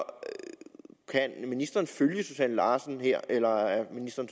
kan ministeren følge susanne larsen her eller er ministeren